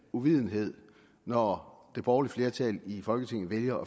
uvidenhed når det borgerlige flertal i folketinget vælger